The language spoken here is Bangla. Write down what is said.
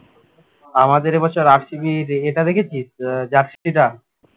আমাদের এ বছর RCB এই ইয়েটা দেখেছিস আহ jersey টা